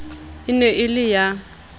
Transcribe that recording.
e ne e le ya